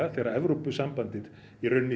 þegar Evrópusambandið